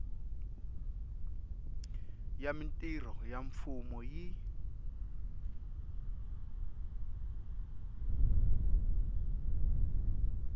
ya mintirho ya mfumo yi